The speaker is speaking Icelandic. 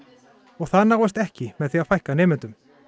og það náist ekki með því að fækka nemendum